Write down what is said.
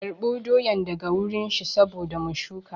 Karɓo doyan daga wurin shi saboda mu shuka